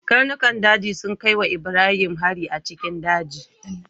Karnukan daji sun kai wa Ibrahim hari a cikin daji.